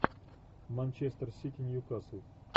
манчестер сити ньюкасл